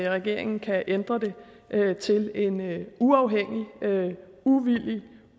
regeringen kan ændre det til en uafhængig og uvildig